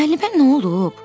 Müəllimə nə olub?